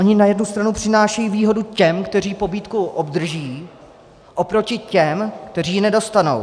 Ony na jednu stranu přinášejí výhodu těm, kteří pobídku obdrží, oproti těm, kteří ji nedostanou.